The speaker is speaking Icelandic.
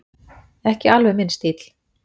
Ekki alveg minn stíll